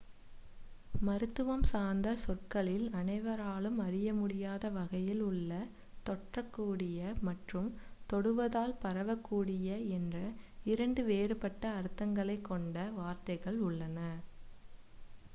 மருத்துவம் சார்ந்த சொற்களில் அனைவராலும் அறியமுடியாத வகையில் உள்ள தொற்றக்கூடிய மற்றும் தொடுவதால் பரவக்கூடிய என்ற இரண்டு வேறுபட்ட அர்த்தங்களை கொண்ட வார்த்தைகள் உள்ளன